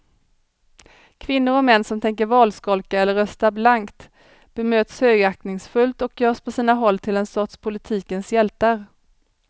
Kvinnor och män som tänker valskolka eller rösta blankt bemöts högaktningsfullt och görs på sina håll till en sorts politikens hjältar.